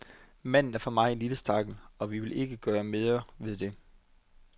Manden er for mig at se en lille stakkel, og vi vil ikke gøre mere ved det.